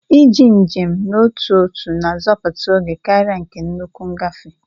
Iji njem n'otu ọtu na-azoputa ógè karia nke nnukwu ngafe.